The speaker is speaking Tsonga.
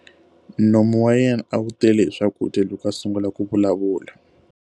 Nomu wa yena a wu tele hi swakudya loko a sungula ku vulavula.